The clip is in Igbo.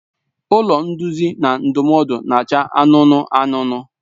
Ụlọ nduzi na ndụmọdụ na-acha anụnụ anụnụ.